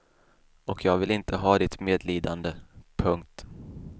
Och jag vill inte ha ditt medlidande. punkt